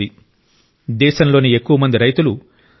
అటువంటి పరిస్థితిలో తేనె కోసం డిమాండ్ మరింత వేగంగా పెరుగుతోంది